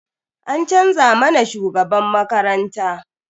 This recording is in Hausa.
An canza mana shugaban makaranta.